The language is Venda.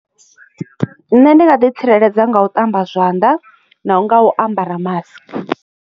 Nṋe ndi nga ḓi tsireledza nga u ṱamba zwanḓa na nga u ambara mask.